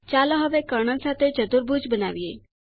ચાલો હવે કર્ણ સાથે ચતુર્ભુજ બનાવીએ